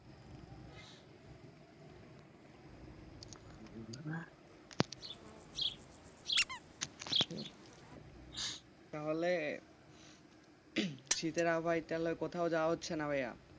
তাহলে শীতের কোথাও যাওয়া হচ্ছে না ভাইয়া,